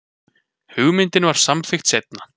Hugmyndin var samþykkt seinna.